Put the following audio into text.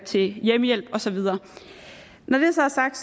til hjemmehjælp og så videre når det så er sagt